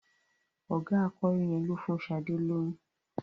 Ọ̀gá akọrin yẹn ló fún Sadé lóyún.